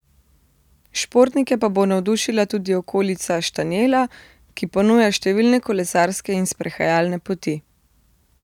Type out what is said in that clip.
Športnike pa bo navdušila tudi okolica Štanjela, ki ponuja številne kolesarske in sprehajalne poti.